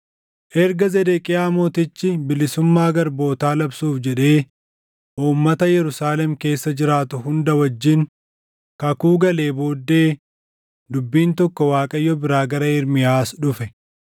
Erga Zedeqiyaa mootichi bilisummaa garbootaa labsuuf jedhee uummata Yerusaalem keessa jiraatu hunda wajjin kakuu galee booddee dubbiin tokko Waaqayyo biraa gara Ermiyaas dhufe.